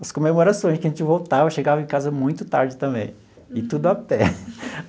As comemorações que a gente voltava, chegava em casa muito tarde também, e tudo a pé.